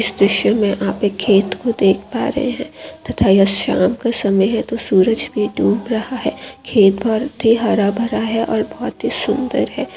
इस दृश्य मे आप एक खेत को देख पा रहे है तथा यह साम का समय है तो सूरज भी डूब रहा है ये बहुत ही हरा भरा है बहुत ही सुंदर है।